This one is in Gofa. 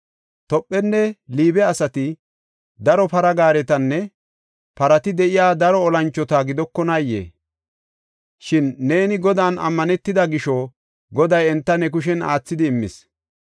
Tophenne Liibe asati daro para gaaretinne parati de7iya daro olanchota gidokonaayee? Shin neeni Godan ammanetida gisho Goday enta ne kushen aathidi immis.